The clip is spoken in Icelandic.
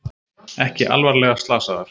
Ekki alvarlega slasaðar